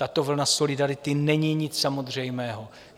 Tato vlna solidarity není nic samozřejmého.